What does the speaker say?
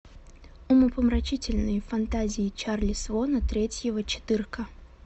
умопомрачительные фантазии чарли свона третьего четырка